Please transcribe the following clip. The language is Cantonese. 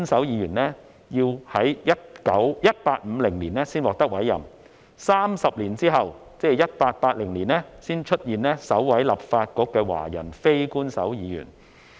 要到1850年才委任首兩位非官守議員 ，30 年後才出現首位立法局的華人非官守議員。